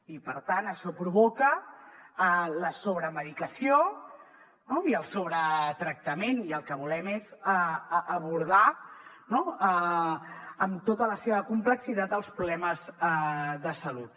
i per tant això provoca la sobremedicació no i el sobretractament i el que volem és abordar no amb tota la seva complexitat els problemes de salut